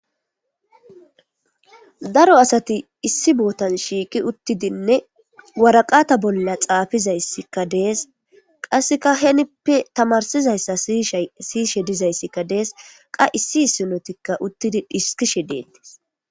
Daro asati issi bootan shiiqi uttidinne waraqata bolla xaafizayssikka dees qasseka henippe tamarsizayssa ishsiyishe dizayssikka dees qa issi issinotikka uttidi dhiskishe deettis.